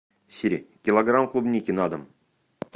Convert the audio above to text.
сири килограмм клубники на дом